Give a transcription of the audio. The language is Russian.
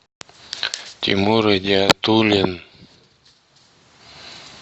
тимур идиатуллин